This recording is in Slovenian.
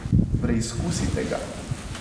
Preizkusite ga.